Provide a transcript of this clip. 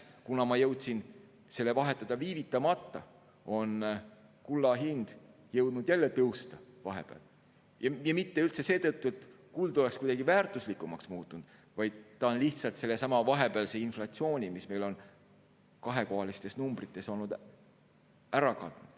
Kuna ma jõudsin selle vahetada viivitamata, siis nüüd ma näen, et kulla hind on jõudnud vahepeal jälle tõusta, ja mitte seetõttu, et kuld oleks kuidagi väärtuslikumaks muutunud, vaid ta on lihtsalt ära katnud sellesama vahepealse inflatsiooni, mis meil on kahekohalistes numbrites olnud.